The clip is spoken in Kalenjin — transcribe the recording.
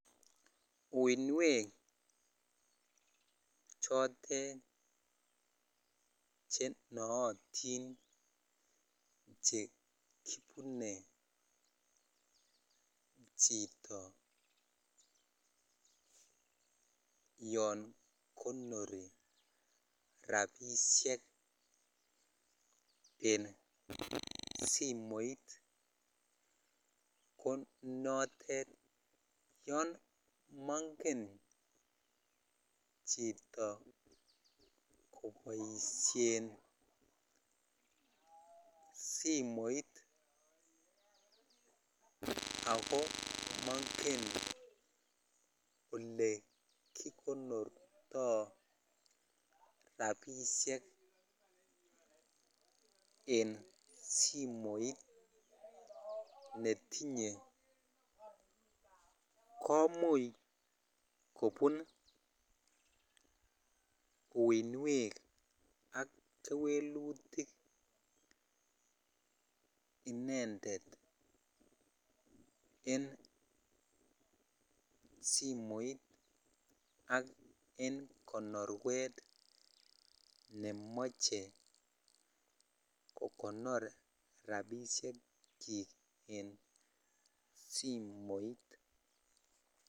Uinwek chotet chenootin chekibunee chito yon konori rapisiek en simoit konotet, yon mongen chito koboisien simoit ako mongen olekikonortoo rapisiek en simoit netinye komuch kobun uinwek ak kewelutik inendet en simoit ak en konorwet nemoche kokonor rapisiekyik en simoit.